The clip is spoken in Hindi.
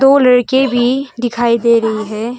दो लड़के भी दिखाई दे रहे है।